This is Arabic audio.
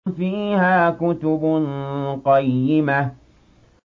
فِيهَا كُتُبٌ قَيِّمَةٌ